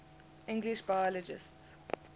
english biologists